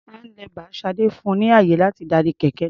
Handlebar Sade fun ni ààyè láti darí kẹ̀kẹ́ náà.